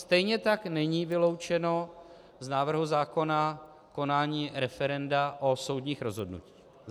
Stejně tak není vyloučeno z návrhu zákona konání referenda o soudních rozhodnutích.